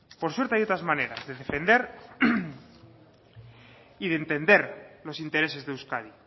por suerte hay otras maneras de defender y de entender los intereses de euskadi